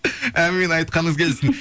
әумин айтқаныңыз келсін